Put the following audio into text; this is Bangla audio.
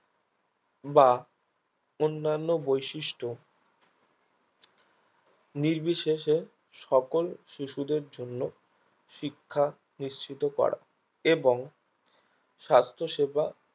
বা অন্যান্য বৈশিষ্ট নির্বিশেষে সকল শিশুদের জন্য শিখা নিশ্চিত করা এবং স্বাস্থসেবা